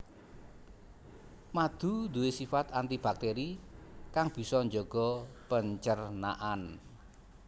Madu nduwe sifat anti baktéri kang bisa njaga pencernaan